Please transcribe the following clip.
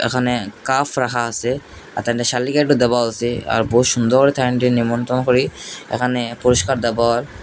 এখানে কাফ রাখা আসে দাবাত আসে আর বহুত সুন্দর নিমন্ত্রণ করে এখানে পুরস্কার দেবার।